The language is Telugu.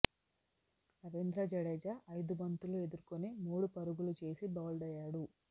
రవీంద్ర జడేజా ఐదు బంతులు ఎదుర్కొని మూడు పరుగులు చేసి బౌల్డ్ అయ్యాడు